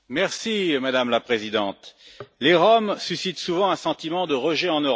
Madame la Présidente, les Roms suscitent souvent un sentiment de rejet en Europe.